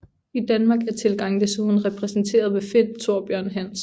I Danmark er tilgangen desuden repræsenterer ved Finn Thorbjørn Hansen